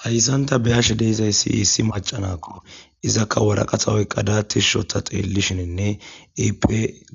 hayssanta beyashe deizayssi hissi macanakko izakka woraqahawoyqqada tishshotha xeellishininne ep